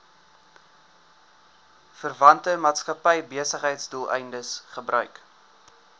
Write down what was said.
verwante maatskappybesigheidsdoeleindes gebruik